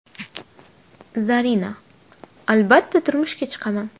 Zarina: Albatta turmushga chiqaman.